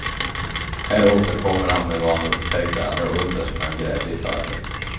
Här återkommer han med vad han upptäckte allra underst när han grävde i fallet.